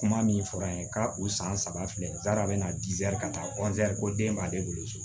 Kuma min fɔra an ye ka u san saba filɛ a bɛna ka taa ko den b'ale bolo so